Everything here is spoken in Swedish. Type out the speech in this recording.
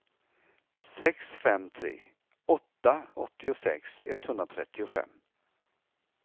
sex fem tre åtta åttiosex etthundratrettiofem